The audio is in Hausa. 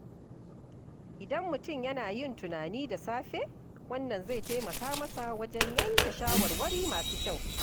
Idan mutum yana yin tunani da safe, wannan zai taimaka masa wajen yanke shawarwari masu kyau.